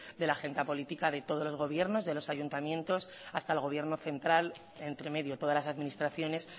de la agenda política de todos los gobiernos de los ayuntamientos hasta el gobierno central entre medio todas las administraciones